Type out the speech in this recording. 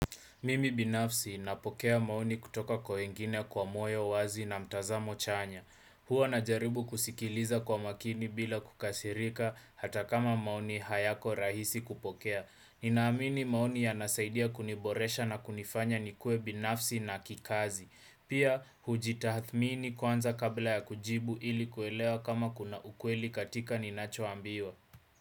Mimi binafsi napokea maoni kutoka kwa wengine kwa moyo wazi na mtazamo chanya. Hua najaribu kusikiliza kwa makini bila kukasirika hata kama maoni hayako rahisi kupokea. Ninaamini maoni yanasaidia kuniboresha na kunifanya nikue binafsi na kikazi. Pia hujitahathmini kwanza kabla ya kujibu ili kuelewa kama kuna ukweli katika ninachoambiwa.